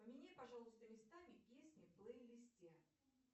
поменяй пожалуйста местами песни в плейлисте